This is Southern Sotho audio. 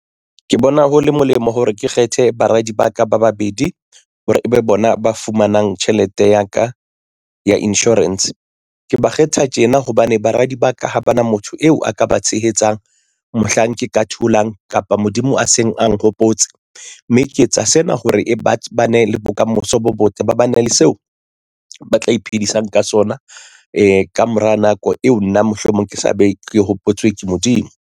Ke bona ho le molemo hore ke kgethe baradi ba ka ba babedi hore ebe bona ba fumanang tjhelete ya ka ya insurance ke ba kgetha tjena hobane baradi ba ka ha ba na motho eo a ka ba tshehetsang mohlang ke ka tholang kapa Modimo a seng a nhopotse mme ke etsa sena hore ba bane le bokamoso bo botle ba bane le seo ba tla iphedisang ka sona. Ee, ka mora nako eo nna mohlomong ke tla be ke hopotswe ke Modimo.